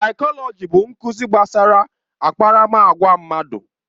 Saikolọji bụ nkuzi gbasara akparamagwa mmadụ.